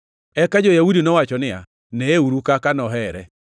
Eka jo-Yahudi nowacho niya, “Neyeuru kaka nohere!”